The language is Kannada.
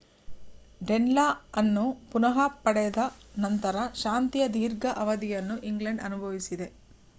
ಡೆನ್‌ಲಾ ಅನ್ನು ಪುನಃ ಪಡೆದ ನಂತರ ಶಾಂತಿಯ ದೀರ್ಘ ಅವಧಿಯನ್ನು ಇಂಗ್ಲೆಂಡ್‌ ಅನುಭವಿಸಿದೆ